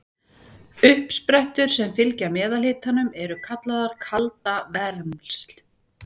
Uppsprettur sem fylgja meðalhitanum eru kallaðar kaldavermsl.